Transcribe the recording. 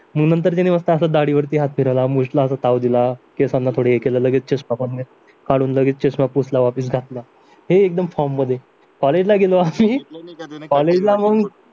मग नंतर त्याने मस्त दाढी वरती हात फिरवला मूछला असा ताव दिला केसांना थोडी हे केलं लगेच चष्मा पण काढून पुसला वापीस घातला हे एकदम फॉर्म मध्ये कॉलेजला गेलो आम्ही कॉलेजला मग